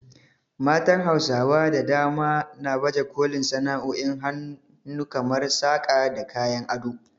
Matan Hausawa da dama na baje kolin sana’o’in hannu kamar saƙa da kayan ado.